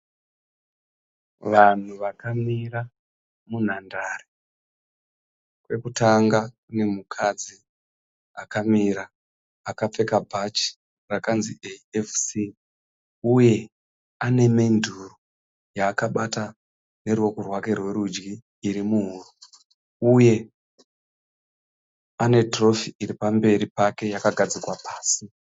Vanhu vakamira munhandare. Pekutanga pane mukadzi akamira kapfeka bhachi rakanzi AFC uye ane menduro yaakabata neruoko rwake rwerudyi iri muhuro, uye ane tirofi iri pamberi pake yakagadzikwa pasi.